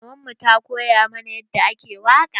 Maman mu ta koya mana yadda ake waƙa.